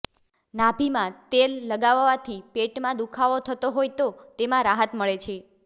નાભિમાં તેલ લગાવવાથી પેટમાં દુખાવો થતો હોય તો તેમા રાહત મળે છે